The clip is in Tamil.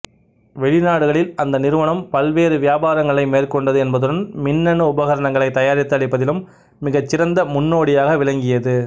வெளிநாடுகளில் அந்த நிறுவனம் பல்வேறு வியாபாரங்களை மேற்கொண்டது என்பதுடன் மின்னணு உபகரணங்களை தயாரித்து அளிப்பதிலும் மிகச் சிறந்த முன்னோடியாக விளங்கியது